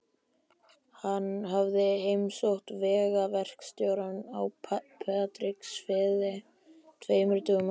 Hann hafði heimsótt vegaverkstjórann á Patreksfirði tveimur dögum áður.